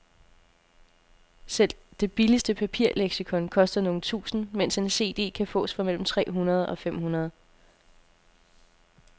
Selv det billigste papirleksikon koster nogle tusinde, mens en cd kan fås for mellem tre hundrede og fem hundrede.